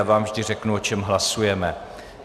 Já vám vždy řeknu, o čem hlasujeme.